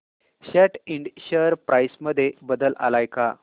सॅट Ind share price मध्ये बदल आलाय का